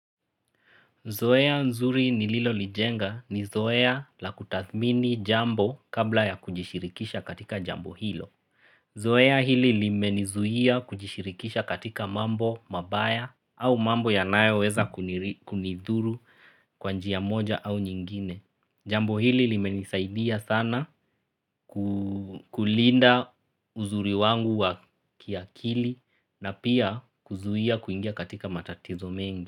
Zoea nzuri nililolijenga ni zoea la kutathmini jambo kabla ya kujishirikisha katika jambo hilo. Zoea hili limenizuia kujishirikisha katika mambo mabaya au mambo yanayoweza kunidhuru kwa njia moja au nyingine. Jambo hili limenisaidia sana kulinda uzuri wangu wa kiakili na pia kuzuia kuingia katika matatizo mengi.